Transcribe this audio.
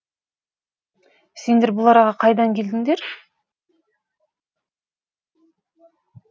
сендер бұл араға қайдан келдіңдер